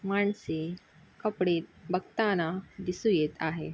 मानसे कपडे बघताना दिसू येत आहे.